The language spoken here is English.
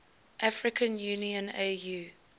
african union au